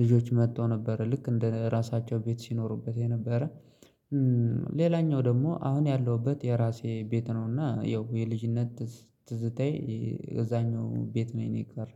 ልጆች መጥተው ነበር ልክ እንደ ራሳቸው ቤት ሲኖሩበት የነበረ። ሌላኛው ደግሞ ያለሁበት የራሴ ቤት ነውና ይኸው የልጅነት ትዝታዬ እዛኛው ቤት ነኝ የቀረ።